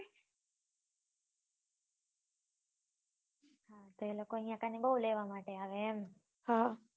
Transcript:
હા એ લોકો અહિયાં બહુ લેવા માટે એમ